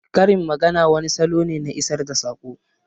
Karin magana wani salo ne na isar da saƙo